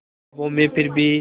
ख्वाबों में फिर भी